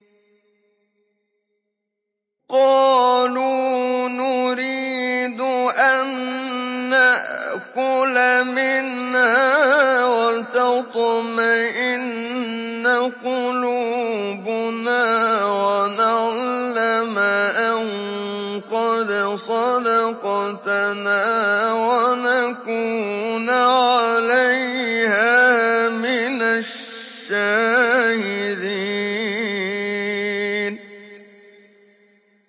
قَالُوا نُرِيدُ أَن نَّأْكُلَ مِنْهَا وَتَطْمَئِنَّ قُلُوبُنَا وَنَعْلَمَ أَن قَدْ صَدَقْتَنَا وَنَكُونَ عَلَيْهَا مِنَ الشَّاهِدِينَ